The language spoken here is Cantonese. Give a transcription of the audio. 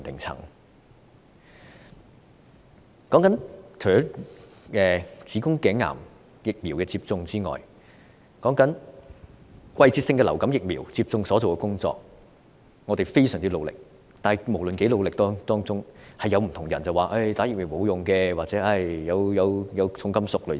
除了子宮頸癌疫苗接種外，還有季節性流感疫苗接種工作，我們非常努力去做，但無論我們如何努力，總有人會提出接種疫苗沒有用或疫苗含重金屬等說法。